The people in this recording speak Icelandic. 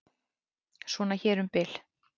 Svona hér um bil.